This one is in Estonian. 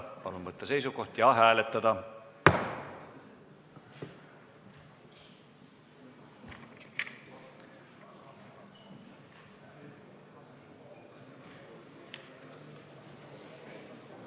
Palun võtta seisukoht ja hääletada!